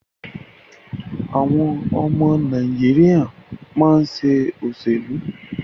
Àwọn ọmọ Nàìjíríà máa ṣe òṣèlú.